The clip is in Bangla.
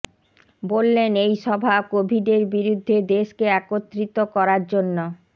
বললেন এই সভা কোভিডের বিরুদ্ধে দেশকে একত্রিত করার জন্য